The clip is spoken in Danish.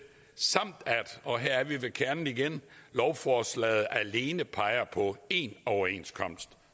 samt at og her er vi ved kernen igen lovforslaget alene peger på én overenskomst